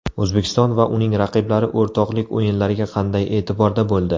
O‘zbekiston va uning raqiblari o‘rtoqlik o‘yinlariga qanday e’tiborda bo‘ldi?.